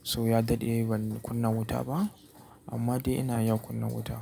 so ya daɗe ban kunna wuta ba amma dai ina iya kunna wuta.